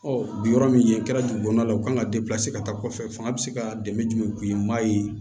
bi yɔrɔ min a kɛra dugu kɔnɔna la u kan ka ka taa kɔfɛ fanga bɛ se ka dɛmɛ jumɛn k'i ye maa ye